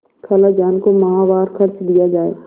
खालाजान को माहवार खर्च दिया जाय